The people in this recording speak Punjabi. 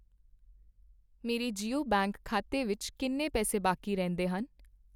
ਮੇਰੇ ਜੀਓ ਬੈਂਕ ਖਾਤੇ ਵਿੱਚ ਕਿੰਨੇ ਪੈਸੇ ਬਾਕੀ ਰਹਿੰਦੇ ਹਨ?